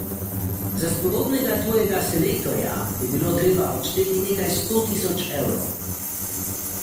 Za spodobnega tujega selektorja bi bilo treba odšteti nekaj sto tisoč evrov.